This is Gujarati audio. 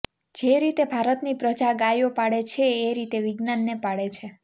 જે રીતે ભારતની પ્રજા ગાયો પાળે છે એ રીતે વિજ્ઞાનને પાળે છે